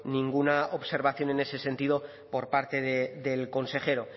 ninguna observación en ese sentido por parte del consejero